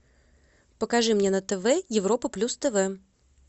покажи мне на тв европа плюс тв